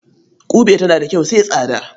Ƙube tana da kyau sai tsada.